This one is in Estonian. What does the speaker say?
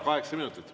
Kaheksa minutit.